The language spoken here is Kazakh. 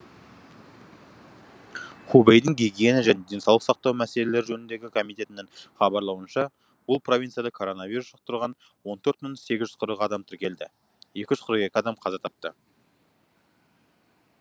хубэйдің гигиена және денсаулық сақтау мәселелері жөніндегі комитінің хабарлауынша бұл провинцияда коронавирус жұқтырған он төрт мың сегіз жүз қырық адам тіркелді екі жүз қырық екі адам қаза тапты